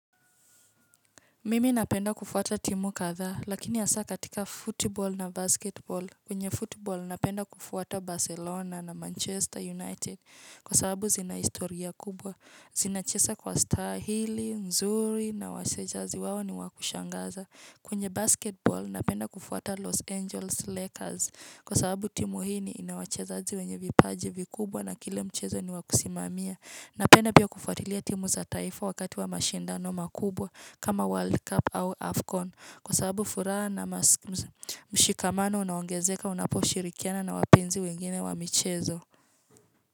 Mimi napenda kufuata timu kadha, lakini ya hasa katika football na basketball, kwenye football napenda kufuata Barcelona na Manchester United, kwa sababu zina historia kubwa, zinacheza kwa staili, nzuri na wachezaji wao ni wakushangaza. Kwenye basketball, napenda kufuata Los Angeles Lakers kwa sababu timu hii ni inawachezaji wenye vipaji vikubwa na kila mchezo ni wakusimamia. Napenda pia kufuatilia timu za taifa wakati wa mashindano makubwa kama World Cup au AFCON kwa sababu furaha na mshikamano unaongezeka, unapo shirikiana na wapenzi wengine wa mchezo.